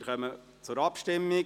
Wir kommen zur Abstimmung.